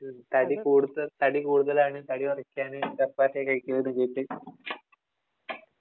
തടി കൂടുത തടി കൂടുതലാണ്. തടി കുറയ്ക്കാന് ചപ്പാത്തിയാ കഴിക്കുന്നതെന്ന് കേട്ട്